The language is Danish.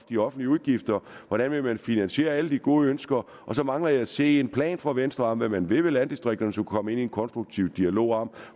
de offentlige udgifter hvordan vil man finansiere alle de gode ønsker så mangler jeg at se en plan fra venstre om hvad man vil med landdistrikterne så kunne komme ind i en konstruktiv dialog om